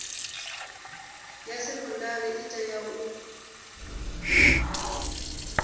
ya sekondari i tea u